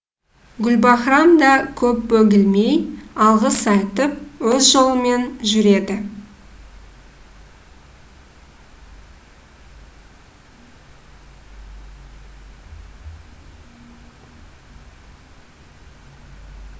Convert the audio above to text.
гүлбаһрам да көп бөгелмей алғыс айтып өз жолымен жүреді